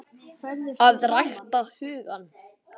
AÐ RÆKTA HUGANN